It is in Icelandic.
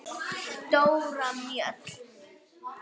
Dóra Mjöll.